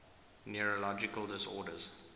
neurological disorders